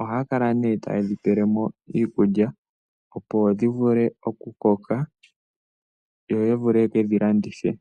Ohaya kala ta ye dhi pele mo iikulya opo dhi koke yo ya vule okudhi landitha po.